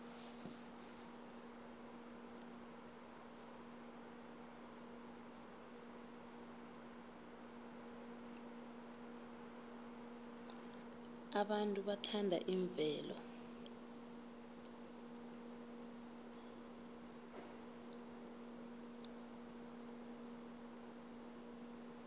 abantu bathanda imvelo